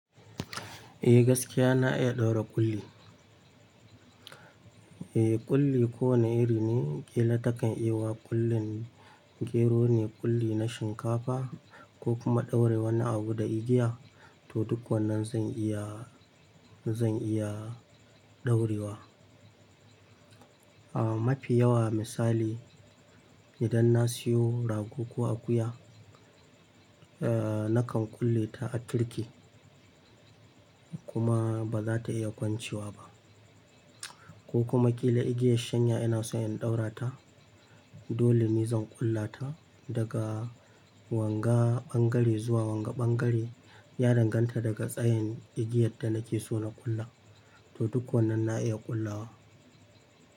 Eh gaskiya na iya ɗaura ƙulli. Eeh ƙulli ko wane iri ne. Kila takan yiwa ƙullin gero ne, ƙulli na shinkafa ko kuma ɗaura wani abu da igiya, to duk wannan zan iya, zan iya ɗaurewa. Aah mafi yawa misali idan na siyo rago ko akuya, ee nakan kulle ta a tirki kuma ba za ta iya kwancewa ba ko kuma kila igiyar shanya ina so in ɗaura ta, dole ni zan ƙullata daga wanga ɓangare zuwa wanga ɓangare, ya danganta daga tsayin igiyar da nake so na ƙulla. To duk wannan na iya ƙullawa.